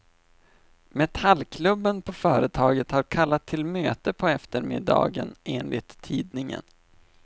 Metallkubben på företaget har kallat till möte på eftermiddagen, enligt tidningen.